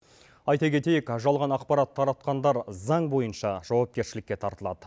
айта кетейік жалған ақпарат таратқандар заң бойынша жауапкершілікке тартылады